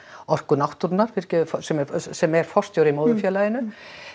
Orku náttúrunnar fyrirgefðu sem er sem er forstjóri í móðurfélaginu